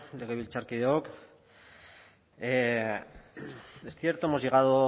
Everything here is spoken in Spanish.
legebiltzarkideok es cierto hemos llegado